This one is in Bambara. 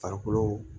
Farikolo